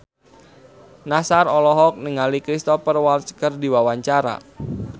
Nassar olohok ningali Cristhoper Waltz keur diwawancara